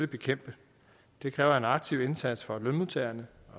bekæmpe det kræver en aktiv indsats fra lønmodtagerne